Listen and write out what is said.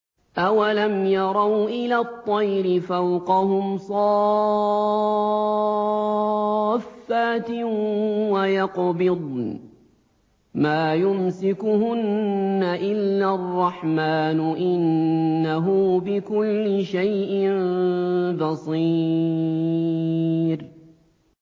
أَوَلَمْ يَرَوْا إِلَى الطَّيْرِ فَوْقَهُمْ صَافَّاتٍ وَيَقْبِضْنَ ۚ مَا يُمْسِكُهُنَّ إِلَّا الرَّحْمَٰنُ ۚ إِنَّهُ بِكُلِّ شَيْءٍ بَصِيرٌ